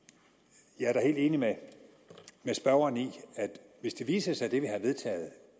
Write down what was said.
jeg er da helt enig med spørgeren i at hvis det viser sig at det vi har vedtaget